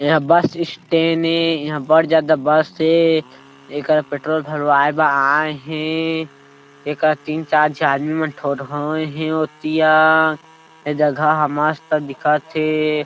एहा bus stand हे इहा बड़ जादा बस हे एकरा पेट्रोल भरए आये हे एकर तीन चार आदमी ठोरहोए हे ओती अअअ ए जगह मस्त दिखत हे।